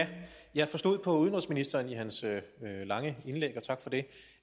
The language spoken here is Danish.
jeg forstod på udenrigsministerens lange indlæg og tak for det